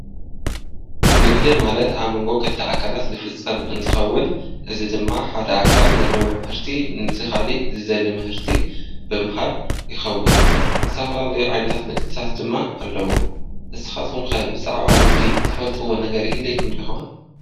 ንግዲ ማለት ኣብ መንጎ ኽልተ ኣካላት ልፍፀም እንትኸውን እዚ ድማ ሓደ ኣካል ለለዎ ምህርቲ ነቲ ኻሊእ ዝደሊ ምህርቲ ብምሃብ ይኸውን፡፡ ዝተፈላለዩ ዓይነታት ንግታት ድማ ኣለዉ፡፡ ንስኻትኹም ከ ብዛዕባ ንግዲ ትፈልጥዎ ነገር ይህለየኩም ዶ ይኾን?